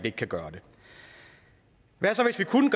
ikke kan gøre det hvad så hvis vi kunne